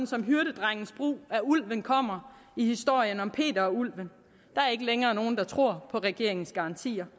som hyrdedrengens brug af ulven kommer i historien om peter og ulven der er ikke længere nogen der tror på regeringens garantier